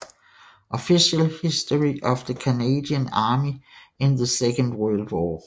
Official History of the Canadian Army in the Second World War